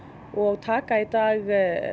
og taka í dag